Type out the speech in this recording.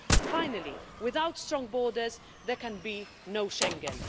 Finally, without strong borders, there can be no Schengen.